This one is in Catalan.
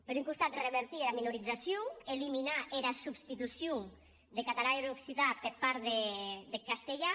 per un costat revertir era minorizacion eliminar era substitucion deth catalan e er occitan per part deth castelhan